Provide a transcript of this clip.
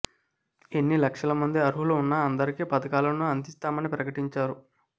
ఎన్ని లక్షల మంది అర్హులు ఉన్నా అందరికీ పథకాలను అందిస్తామని ప్రకటించారు